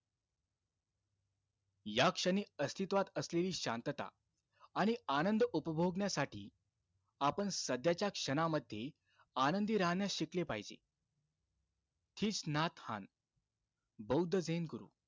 या क्षणी अस्तित्वात असलेली शांतता आणि आनंद उपभोगण्यासाठी, आपण सध्याच्या क्षणामध्ये आनंदी राहण्यास शिकले पाहिजे. किस नाथ हान बौद्ध झेन गुरु,